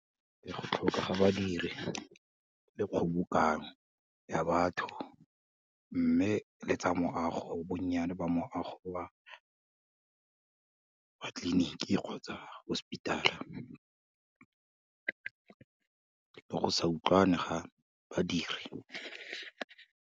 Ee, go tlhokega badiri le kgobokanyo ya batho mme le tsa moago, bonnyane ba moago ba tleliniki kgotsa hospital, le go sa utlwane ga badiri.